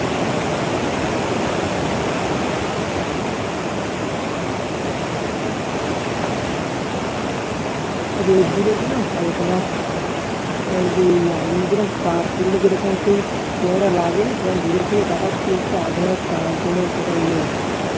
রোদ্দুরে যেন হলকা মারছে। মানে আগুনে তাপ পুড়লে যেমন যেই ইয়েটা লাগে সেরকম দুরের দিকে তাকাচ্ছি দেখছি আগুনের তাপ যেন একটা ইয়ে হচ্ছে।